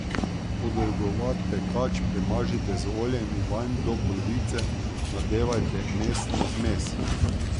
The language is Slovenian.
Podolgovat pekač premažite z oljem in vanj do polovice nadevajte mesno zmes.